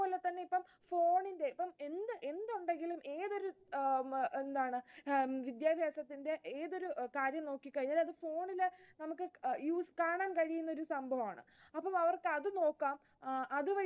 എന്താണ് ആഹ് വിദ്യാഭ്യാസത്തിന്റെ ഏതൊരു കാര്യം നോക്കി കഴിഞ്ഞാൽ അത് phone ൽ നമുക്ക് കാണാൻ കഴിയുന്നൊരു സംഭവമാണ് അപ്പൊ അവർക്ക് അത് നോക്കാം അതുവഴി